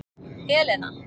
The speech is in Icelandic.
Elena